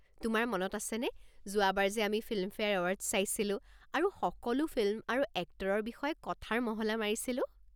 তোমাৰ মনত আছেনে যোৱাবাৰ যে আমি ফিল্মফেয়াৰ এৱাৰ্ডছ চাইছিলো আৰু সকলো ফিল্ম আৰু এক্টৰৰ বিষয়ে কথাৰ মহলা মাৰিছিলো?